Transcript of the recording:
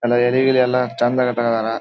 ಅಲ್ಲಿ ಏರಿಯಾ ಗಿರಿಯ ಎಲ್ಲಾ ಚಂದ್ ಇಟ್ಕೊಂಡಿದ್ದಾರಾ.